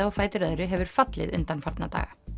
á fætur öðru hefur fallið undanfarna daga